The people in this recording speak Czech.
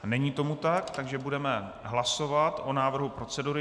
Není tomu tak, takže budeme hlasovat o návrhu procedury.